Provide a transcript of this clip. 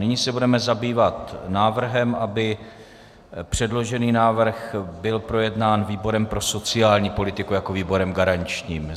Nyní se budeme zabývat návrhem, aby předložený návrh byl projednán výborem pro sociální politiku jako výborem garančním.